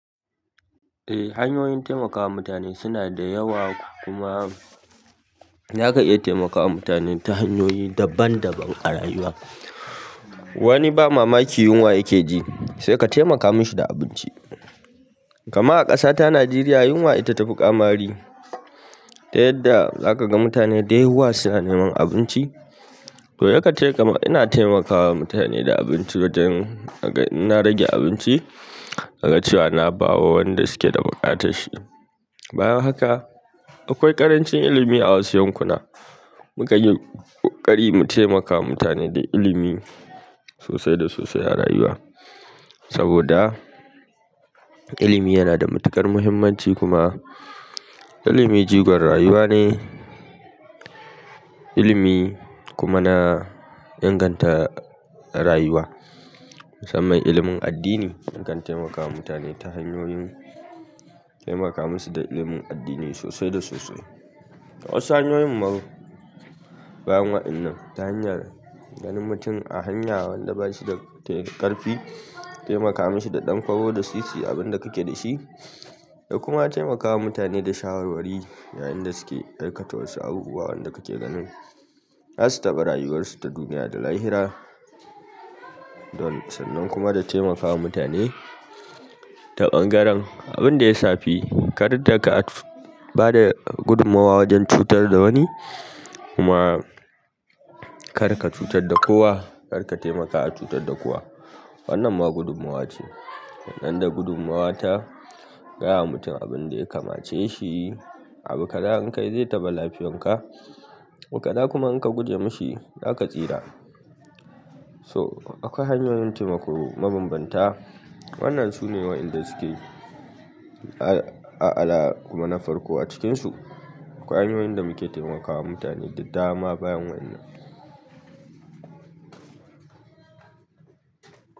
Eh hanyoyin taimakawa mutane suna da yawa kuma za ka iya taimakawa mutane ta hanyoyi daban-daban a rayuwa. Wani ba mamaki yunwa ya ke ji sai ka taimaka mi shi da abinci. Kaman a ƙasata Najeriya yunwa ita ta fi ƙamari, ta yadda za ka ga mutane da yawa suna neman abinci. To ya kan te. Kaman ina taimakawa mutane da abinci wajen in na rage abinci, na ga cewa na bawa wanda su ke da buƙatar shi. Bayan haka akwai ƙarancin ilimi a wasu yankuna, mu kan yi ƙokari mu taimakawa mutane da ilimi sosai da sosai a rayuwa. Saboda ilimi yana da matuƙar muhimmanci kuma ilimi jigon rayuwa ne, ilimi kuma na inganta rayuwa. Musamman ilimin addini, ya kan temakawa mutane ta hanyoyin temaka musu da ilimin addini sosai da sosai a wasu hanyoyin ma bayan wa'innan ta hanyar ganin mutum a hanya wanda ba shi da ƙarfi, taimaka mi shi da ɗan kwabo da sisi abin da ka ke da shi da kuma taimakawa mutane da shawarwari yayin da su ke aikata wasu abubuwa wanda ka ke ganin. Za su taɓa rayuwarsu ta duniya da lahira, don sannan kuma da taimakawa mutane ta ɓangaren abin da ya shafi. Kar da ka bada gudummawa wajen cutar da wani kuma. Kar ka cutar da kowa, kar ka taimaka a cutar da kowa. Wannan ma gudummawa ce. Nan da gudummawa ta gaya ma mutum abin da ya kamace shi, abu kaza in ka yi zai taɓa lafiyanka, abu kaza kuma in ka guje mishi zaka tsira. So akwai hanyoyin taimako mabambanta. Wannan sune wa'inda suke a al'ala kuma na farko a cikinsu. Akwai hanyoyin da muke taimakawa mutane da dama bayan wa'inan.